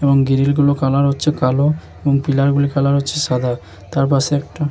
এবং গ্রিল গুলোর কালার হচ্ছে কালো এবং পিলার গুলির কালার হচ্ছে সাদা |তার পাশে একটা --